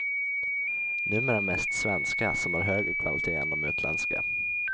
Numera mest svenska som har högre kvalitet än de utländska.